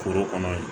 Foro kɔnɔ ye